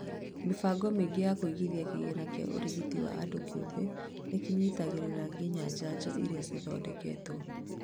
Mĩbango mĩingĩ ya kũigithia kĩgĩna kĩa ũrigitani wa andũ kĩumbe nĩkĩnyitagĩrĩra nginya njanjo irĩa ciendekithĩtio